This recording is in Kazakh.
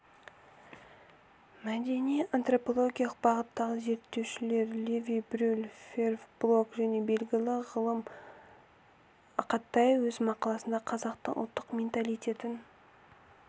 мәдени-антропологиялық бағыттағы зерттеушілер леви-брюль февр блок және белгілі ғалым ақатай өз мақаласында қазақтың ұлттық менталитетін